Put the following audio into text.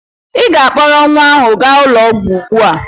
Ị ga-akpọrọ nwa ahụ gaa ụlọ ọgwụ ugbu a!